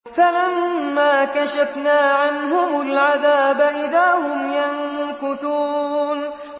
فَلَمَّا كَشَفْنَا عَنْهُمُ الْعَذَابَ إِذَا هُمْ يَنكُثُونَ